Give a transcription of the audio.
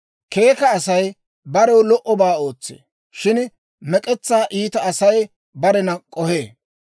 Keeka Asay barew lo"obaa ootsee; shin mek'etsaa iita Asay barena k'ohee.